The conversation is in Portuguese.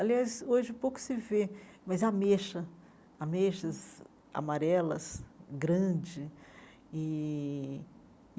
Aliás, hoje pouco se vê, mas ameixa, ameixas amarelas grande e.